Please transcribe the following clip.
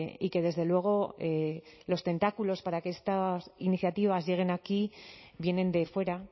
y que desde luego los tentáculos para que estas iniciativas lleguen aquí vienen de fuera